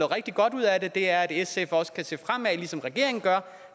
rigtig godt ud af det og det er at sf også kan se fremad ligesom regeringen gør